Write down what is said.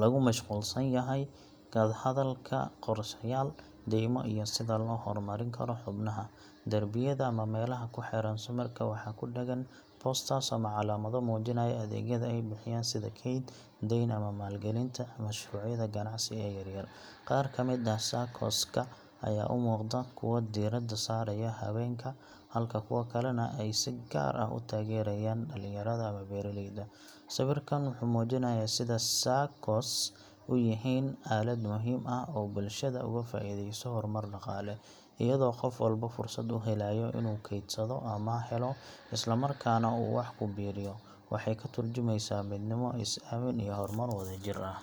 lagu mashquulsan yahay ka hadalka qorshayaal, deymo, iyo sida loo horumarin karo xubnaha. Darbiyada ama meelaha ku xeeran sawirka waxaa ku dheggan posters ama calaamado muujinaya adeegyada ay bixiyaan sida kayd, deyn, ama maalgelinta mashruucyada ganacsi ee yaryar. Qaar ka mid ah SACCOs-ka ayaa u muuqda kuwo diiradda saaraya haweenka, halka kuwo kalena ay si gaar ah u taageerayaan dhalinyarada ama beeraleyda. Sawirkan wuxuu muujinayaa sida SACCOs u yihiin aalad muhiim ah oo bulshada uga faa’iideyso horumar dhaqaale, iyadoo qof walba fursad u helayo inuu kaydsado, amaah helo, isla markaana uu wax ku biiriyo. Waxay ka tarjumaysaa midnimo, is-aamin iyo horumar wadajir ah.